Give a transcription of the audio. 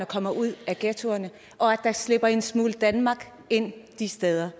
kommer ud af ghettoerne og at der slipper en smule danmark ind de steder